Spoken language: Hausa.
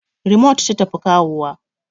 Rimot ta tafi kawowa